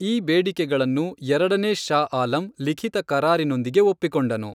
ಈ ಬೇಡಿಕೆಗಳನ್ನು ಎರಡನೇ ಶಾ ಆಲಂ ಲಿಖಿತ ಕರಾರಿನೊಂದಿಗೆ ಒಪ್ಪಿಕೊಂಡನು.